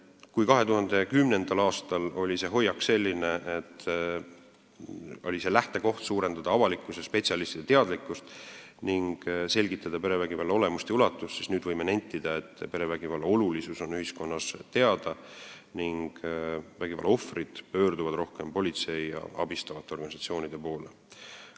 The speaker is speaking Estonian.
Kui 2010. aastal oli hoiak selline, et lähtekoht oli suurendada avalikkuse ja spetsialistide teadlikkust ning selgitada perevägivalla olemust ja ulatust, siis nüüd võime nentida, et perevägivalla olulisus on ühiskonnas teada ning vägivallaohvrid pöörduvad rohkem politsei ja abistavate organisatsioonide poole.